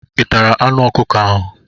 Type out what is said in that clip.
ị tara anụ ọkụkọ ahụ?